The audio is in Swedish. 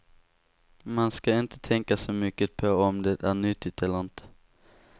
Man ska inte tänka så mycket på om det är nyttigt eller inte.